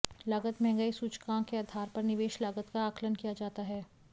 लागत महंगाई सूचकांक के आधार पर निवेश लागत का आकलन किया जाता है